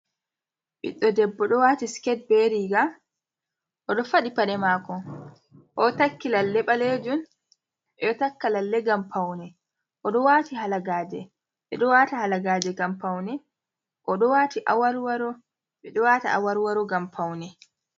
Ɓiɗdo debbo, ɗo wati siket be riga, oɗo faɗi paɗe mako, o takki lalle balejum, ɓeɗo takka lalle ngam paune, odo wati halagaje ɓeɗo wata halagaje ngam paune, oɗo wati aworworo, ɓeɗo wata awarwaro ngam paune.